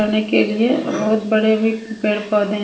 करने के लिए बहुत बड़े भी पेड़ पौधे हैं।